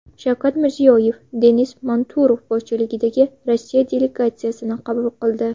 Shavkat Mirziyoyev Denis Manturov boshchiligidagi Rossiya delegatsiyasini qabul qildi.